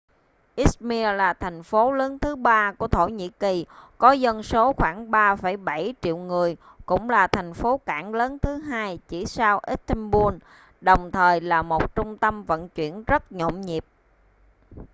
izmir là thành phố lớn thứ ba của thổ nhĩ kỳ có dân số khoảng 3,7 triệu người cũng là thành phố cảng lớn thứ hai chỉ sau istanbul đồng thời là một trung tâm vận chuyển rất nhộn nhịp